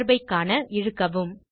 தொடர்பை ஐ காண இழுக்கவும்